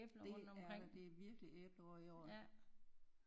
Det er der det er virkelig æbleår i år